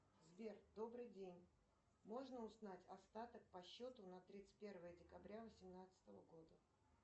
сбер добрый день можно узнать остаток по счету на тридцать первое декабря восемнадцатого года